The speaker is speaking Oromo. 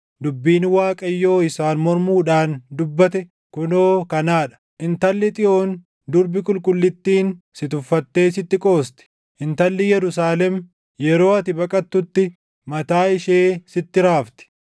dubbiin Waaqayyo isaan mormuudhaan dubbate kunoo kanaa dha: “Intalli Xiyoon durbi qulqullittiin si tuffattee sitti qoosti. Intalli Yerusaalem yeroo ati baqattutti mataa ishee sitti raafti.